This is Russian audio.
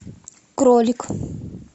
кролик